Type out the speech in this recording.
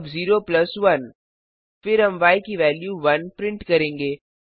अब 0 प्लस 1 फिर हम य की वेल्यू 1 प्रिंट करेंगे